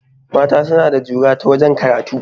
Mata suna da jura ta wajen karatu